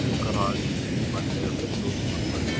ఈ యొక్క Royal Enfield బండి యొక్క షోరూం అన్నమాట.